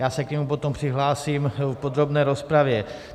Já se k němu potom přihlásím v podrobné rozpravě.